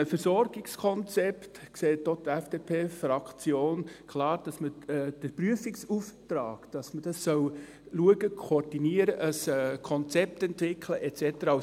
Das Versorgungskonzept sieht die FDP-Fraktion klar auch als sinnvoll an, dahingehend, dass man den Prüfungsauftrag anschauen, das koordinieren, ein Konzept entwickeln soll et cetera.